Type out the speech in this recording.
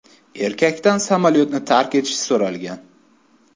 Erkakdan samolyotni tark etish so‘ralgan.